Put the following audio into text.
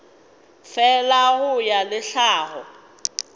fela go ya le tlhago